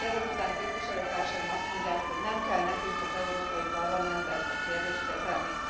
Ezek után a képviselőtársaim azt mondják, hogy nem kell nekünk az Európai Parlamentben ezt a kérdést kezelni?